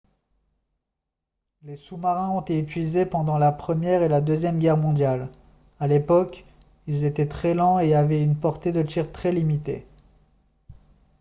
les sous-marins ont été utilisés pendant la première et la deuxième guerre mondiale à l'époque ils étaient très lents et avaient une portée de tir très limitée